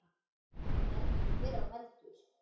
Veldur hver á heldur.